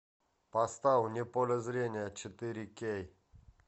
поставь вне поля зрения четыре кей